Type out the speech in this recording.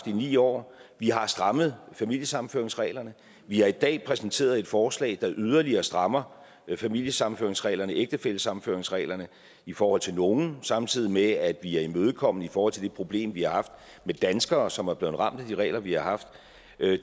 ni år vi har strammet familiesammenføringsreglerne vi har i dag præsenteret et forslag der yderligere strammer familiesammenføringsreglerne ægtefællesammenføringsreglerne i forhold til nogle samtidig med at vi er imødekommende i forhold til det problem vi har haft med danskere som er blevet ramt af de regler vi har haft